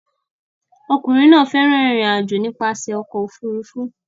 Ọkùnrin náà fẹ́ràn ìrìn-àjò nípasẹ̀ ọkọ̀ òfurufú